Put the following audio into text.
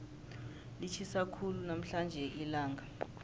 litjhisa khulu namhlanje ilanga